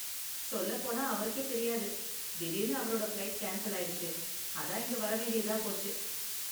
சொல்லப்போனா அவருக்கே தெரியாது, திடீர்னு அவரோட ஃப்ளைட் கேன்ஸல் ஆயிடுச்சு, அதான் இங்க வரவேண்டியதா போச்சு.